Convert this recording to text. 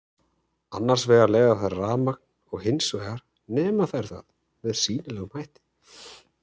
Annars vegar leiða þær rafmagn og hins vegar nema þær það með sýnilegum hætti.